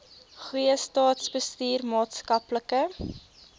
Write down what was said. goeie staatsbestuur maatskaplike